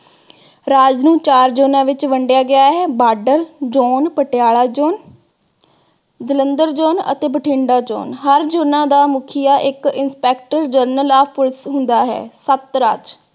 ਰਾਜ ਨੂੰ ਚਾਰ ਜੋਨਾਂ ਵਿਚ ਵੰਡਿਆ ਗਿਆ ਹੈ, border zone Patiala zone Jalandhar zone ਅਤੇ ਬਠਿੰਡਾ zone । ਹਰ ਜੋਨਾਂ ਦਾ ਮੁਖੀਆ ਇਕ inspector general of police ਹੁੰਦਾ ਹੈ। ਰਾਜ